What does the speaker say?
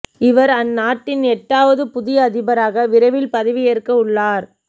இவர் அந்நாட்டின் எட்டாவது புதிய அதிபராக விரைவில் பதவி ஏற்க உள்ளார்